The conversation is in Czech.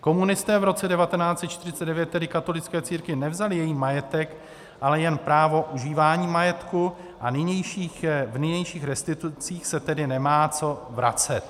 Komunisté v roce 1949 tedy katolické církvi nevzali její majetek, ale jen právo užívání majetku, a v nynějších restitucích se tedy nemá co vracet.